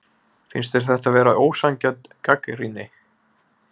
Finnst þér þetta vera ósanngjörn gagnrýni?